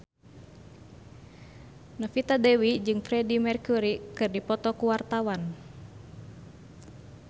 Novita Dewi jeung Freedie Mercury keur dipoto ku wartawan